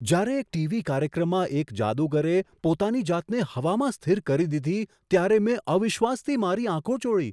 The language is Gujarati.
જ્યારે એક ટીવી કાર્યક્રમમાં એક જાદુગરે પોતાની જાતને હવામાં સ્થિર કરી દીધી ત્યારે મેં અવિશ્વાસથી મારી આંખો ચોળી.